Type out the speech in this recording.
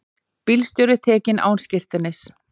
Bílstjóri tekinn án skírteinis